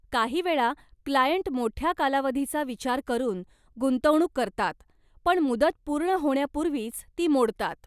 काहीवेळा क्लायंट मोठ्या कालावधीचा विचार करून गुंतवणूक करतात पण मुदत पूर्ण होण्यापूर्वीच ती मोडतात.